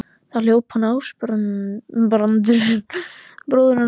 Þá hljóp upp Ásbrandur bróðir hans.